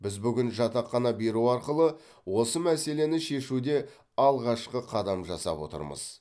біз бүгін жатақхана беру арқылы осы мәселені шешуде алғашқы қадам жасап отырмыз